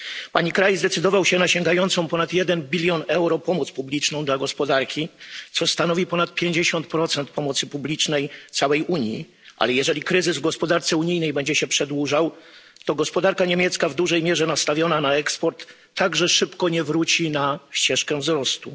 Pani kraj zdecydował się na sięgającą ponad 1 bln euro pomoc publiczną dla gospodarki, co stanowi ponad 50 pomocy publicznej całej Unii, ale jeżeli kryzys w gospodarce unijnej będzie się przedłużał, to gospodarka niemiecka, w dużej mierze nastawiona na eksport, także szybko nie wróci na ścieżkę wzrostu.